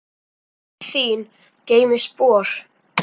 Guð þín geymi spor.